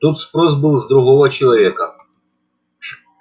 тут спрос был с другого человека